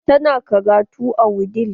Ta na karatu a wudil.